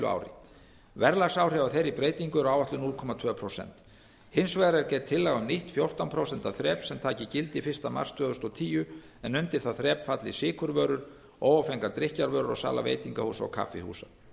ári verðlagsáhrif af þeirri breytingu eru áætluð núll komma tvö prósent hins vegar er gerð tillaga um nýtt fjórtán prósent þrep sem taki gildi fyrsta mars tvö þúsund og tíu en undir það þrep falli sykurvörur óáfengar drykkjarvörur og sala veitingahúsa og kaffihúsa